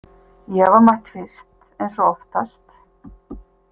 Ég var mætt fyrst eins og oftast.